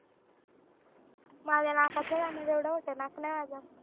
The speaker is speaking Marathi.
माझ्या नाकात नाही जाणार येवढ मोठं नाक नाही माझं